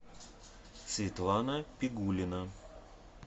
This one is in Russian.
светлана пигулина